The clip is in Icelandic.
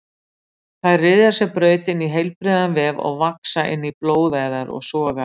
Þær ryðja sér braut inn í heilbrigðan vef og vaxa inn í blóðæðar og sogæðar.